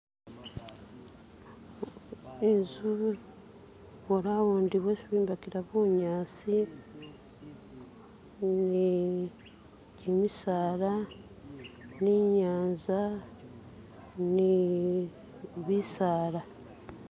Inzu boraundi bwesi bombekela bunyasi ni misaala ni nyanza yee bisaala